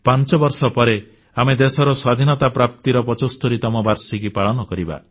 ପାଞ୍ଚବର୍ଷ ପରେ ଆମେ ଦେଶର ସ୍ୱାଧୀନତା ପ୍ରାପ୍ତିର 75ତମ ବାର୍ଷିକୀ ପାଳନ କରିବା